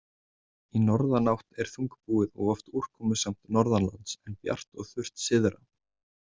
Í norðanátt er þungbúið og oft úrkomusamt norðanlands, en bjart og þurrt syðra.